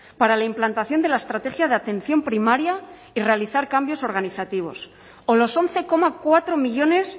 para la implantación de la estrategia de atención primaria y realizar cambios organizativos o los once coma cuatro millónes